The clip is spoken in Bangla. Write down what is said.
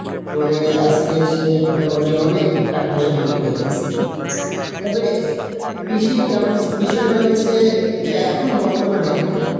করে আজকের সে মোটামুটি অনেক টাকা পয়সার মালিক হয়ে গেসে তবে কৃষির বেবো~ বিষয়টা হচ্ছে এখন বর্তমানে